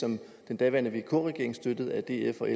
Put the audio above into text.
som den daværende vk regering støttet af df og